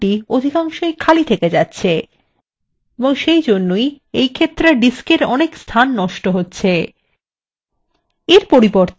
এবং তাই authors table নতুন website column অধিকাংশই খালি থেকে যাচ্ছে এবং সেইজন্যই disk এর অনেক স্থান নষ্ট হচ্ছে